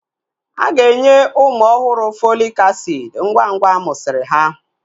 Aga enye ụmụ ọhụrụ Fọlik asiid ngwa ngwa amusiri ha